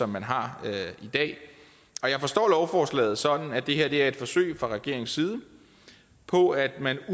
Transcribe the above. man har i dag jeg forstår lovforslaget sådan at det her er et forsøg fra regeringens side på at man